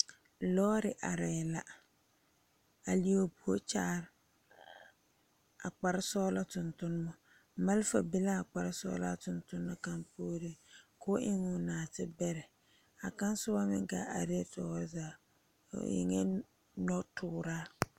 Lɔre are la a leɛ o puori kyaare a kpare sɔglɔ tontomma malefaa be la a kpare sɔglaa tontona kaŋ puori ko'o eŋ o naate bɛre kaŋa soba meŋ gaa are tɔɔre zaa o eŋa noɔ tuura.